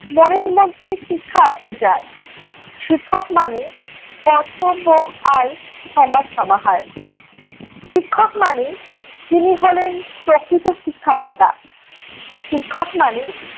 মনের মধ্যে শিখা আছে যার, শিক্ষক মানে কর্তব্য আর ক্ষমার সমাহার। শিক্ষক মানে যিনি হলেন প্রকৃত শীক্ষাদাতা। শিক্ষক মানে